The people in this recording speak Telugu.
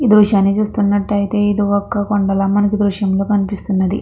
ఈ దృశ్యాన్ని చూస్తున్నట్టయితే ఇది ఒక కొండల మనకి దృశ్యంలో కనిపిస్తున్నది.